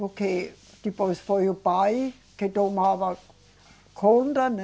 Porque depois foi o pai que tomava conta, né?